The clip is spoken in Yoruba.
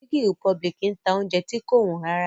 Chicken republic ń ta oúnjẹ tí kò wọ́n rárá